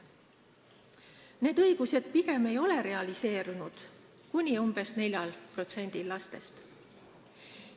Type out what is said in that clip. Need õigused pigem ei ole realiseerunud kuni 4%-l lastest.